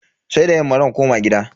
Sai da yamma zan koma gida.